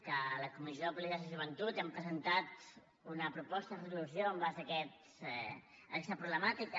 que a la comissió de polítiques de joventut hem presentat una proposta de resolució en base a aquesta problemàtica